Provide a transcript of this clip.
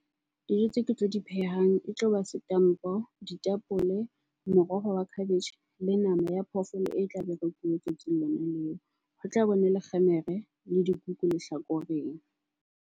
Dijo tseo ke tlo di phehang e tloba setampo, ditapole, moroho wa khabetjhe le nama ya phoofolo e tlabe e rekuwe tsatsing leo. Ho tla le kgemere le dikuku lehlakoreng.